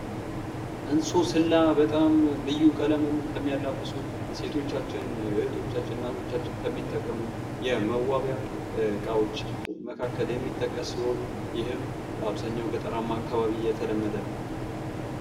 እንሶስላ በጣም ልዩ ቀለምን ከሚያላብሱ ፤ እህቶቻችን፥ እናቶቻችን ከሚጠቀሙት የመዋቢያ እቃዎች መካከል የሚጠቀስ ሲሆን ይህም በአብዛሀኛው ገጠር አካባቢ የተለመደ ነው።